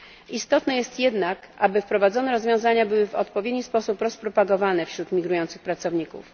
Istotne jest jednak, aby wprowadzone rozwiązania były w odpowiedni sposób rozpropagowane wśród migrujących pracowników.